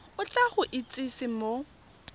o tla go itsise mo